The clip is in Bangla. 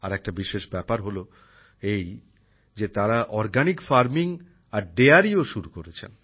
আরেকটা বিশেষ ব্যাপার হল এই যে তারা প্রাকৃতিক পদ্ধতিতে আর দোহ শিল্প অর্থাৎ ডেয়ারিও শুরু করেছেন